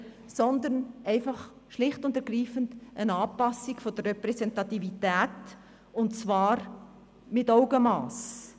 Sondern er fordert schlicht und ergreifend eine Anpassung der Repräsentativität, und zwar mit Augenmass.